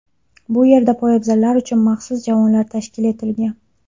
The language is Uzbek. Bu yerda poyabzallar uchun maxsus javonlar tashkil etilgan.